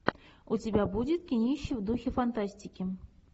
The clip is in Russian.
у тебя будет кинище в духе фантастики